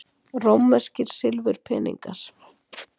Rómverskir silfurpeningar.